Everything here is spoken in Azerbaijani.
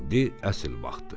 İndi əsil vaxtdır.